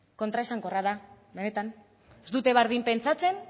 kontraesankorra da benetan ez dute bardin pentsatzen